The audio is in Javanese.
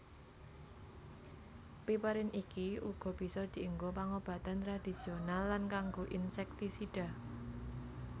Piperin iki uga bisa dienggo pangobatan tradisional lan kanggo insektisida